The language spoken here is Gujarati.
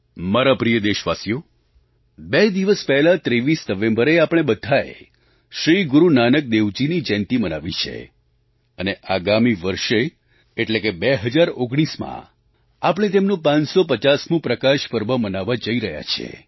મારા પ્રિય દેશવાસીઓ બે દિવસ પહેલાં 23 નવેમ્બરે આપણે બધાએ શ્રી ગુરુ નાનક દેવજીની જયંતી મનાવી છે અને આગામી વર્ષે એટલે કે 2019માં આપણે તેમનું 550મું પ્રકાશપર્વ મનાવવા જઈ રહ્યા છીએ